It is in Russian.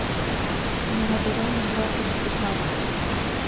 мелодрамы двадцать девятнадцать